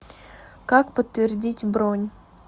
как подтвердить бронь